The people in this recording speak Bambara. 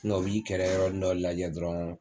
u b'i kɛrɛ yɔrɔnin dɔ lajɛ dɔrɔn.